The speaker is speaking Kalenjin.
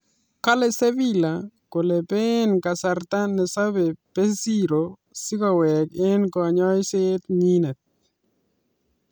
Kalei sevila kole bee kasarta ne sobei berizoo si koweek eg konyoiset nyii